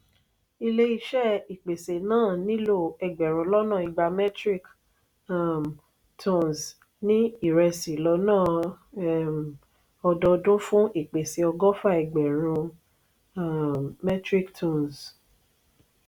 ilé iṣé ìpèsè náà nílò ẹgbẹrun lọnà ìgbà metric um tonnes ní iresi lọ́nà um ọdọọdún fún ìpèsè ọgọfa ẹgbẹrun um metric tonnes..